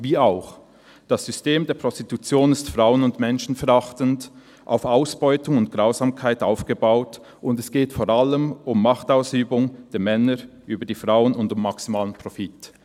Wie auch? – Das System der Prostitution ist frauen- und menschenverachtend, auf Ausbeutung und Grausamkeit aufgebaut und es geht vor allem um Machtausübung der Männer über die Frauen und um maximalen Profit.»